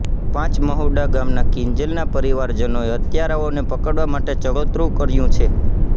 પાંચ મહુડા ગામના કિંજલનાં પરિવારજનોએ હત્યારાઓને પકડવા માટે ચડોતરું કર્યું છે